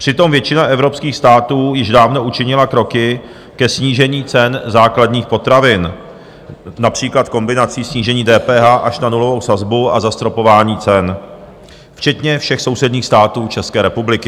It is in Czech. Přitom většina evropských států již dávno učinila kroky ke snížení cen základních potravin, například kombinací snížení DPH až na nulovou sazbu a zastropování cen, včetně všech sousedních států České republiky.